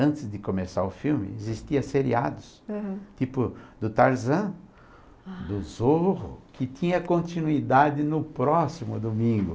Antes de começar o filme, existia seriados, uhum, tipo do Tarzan, do Zorro, que tinha continuidade no próximo domingo.